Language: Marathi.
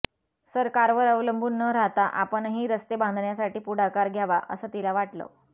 सरकारवर अवलंबून न राहता आपणही रस्ते बांधण्यासाठी पुढाकार घ्यावा असं तिला वाटलं